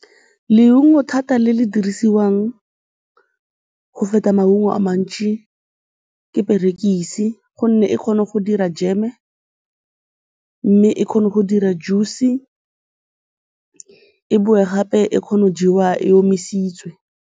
Leungo thata le le dirisiwang go feta maungo a mantši ke perekise gonne e kgona go dira jam-e, mme e kgone go dira juice-e, e boe gape e kgone go jewa e omisitswe.